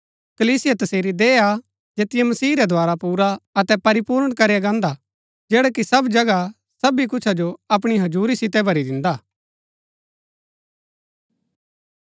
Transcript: कलीसिया तसेरी देह हा जैतिओ मसीह रै द्धारा पुरा अतै परिपूर्ण करया गान्दा हा जैडा की सब जगह सबी कुछ जो अपणी हजुरी सितै भरी दिन्दा हा